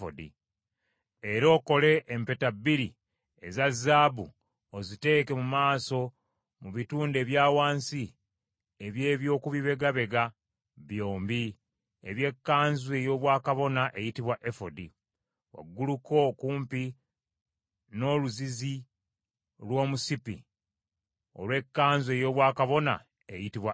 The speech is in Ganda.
Era okole empeta bbiri eza zaabu oziteeke mu maaso, mu bitundu ebya wansi eby’eby’okubibegabega byombi eby’ekkanzu ey’obwakabona eyitibwa efodi, wagguluko okumpi n’oluzizi lw’omusipi olw’ekkanzu ey’obwakabona eyitibwa efodi.